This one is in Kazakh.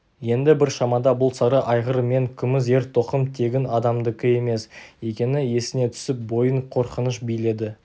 енді бір шамада бұл сары айғыр мен күміс ер-тоқым тегін адамдікі емес екені есіне түсіп бойын қорқыныш биледі